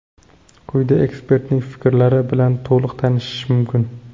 Quyida ekspertning fikrlari bilan to‘liq tanishish mumkin.